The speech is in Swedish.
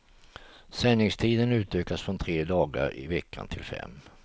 Sändningstiden utökas från tre dagar i veckan till fem.